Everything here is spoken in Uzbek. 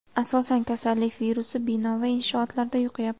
Asosan, kasallik virusi bino va inshootlarda yuqyapti.